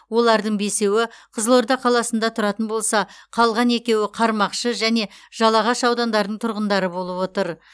олардың бесеуі қызылорда қаласында тұратын болса қалған екеуі қармақшы және жалағаш аудандарының тұрғындары болып отыр